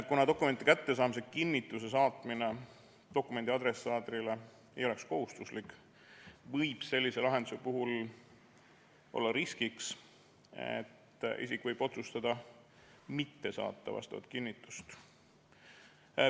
Kuna dokumendi kättesaamise kinnituse saatmine ei oleks dokumendi adressaadile kohustuslik, võib sellise lahenduse puhul olla riskiks, et isik võib otsustada mitte saata vastavat kinnitust.